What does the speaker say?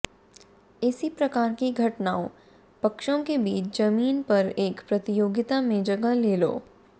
इसी प्रकार की घटनाओं पक्षों के बीच जमीन पर एक प्रतियोगिता में जगह ले लो